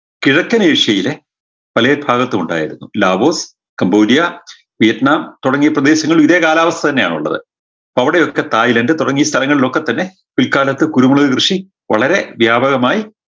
കിഴക്കൻ ഏഷ്യയിലെ പലേ ഭാഗത്തുമുണ്ടായിരുന്നു ലാവോസ് കമ്പോലിയാ ക്ലിയത്ന തുടങ്ങിയ പ്രദേശങ്ങളിൽ ഇതേ കാലാവസ്ഥ തന്നെയാണുള്ളത് അപ്പൊ അവിടെയൊക്കെ തായ്‌ലാൻഡ് തുടങ്ങി ഈ സ്ഥലങ്ങളിലൊക്കെ തന്നെ പിൽക്കാലത്ത് കുരുമുളക് കൃഷി വളരെ വ്യാപകമായി